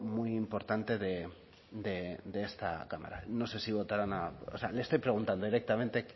muy importante de esta cámara no sé si votarán o sea le estoy preguntando directamente